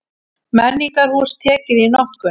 Menningarhús tekið í notkun